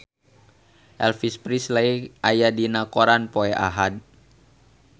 Elvis Presley aya dina koran poe Ahad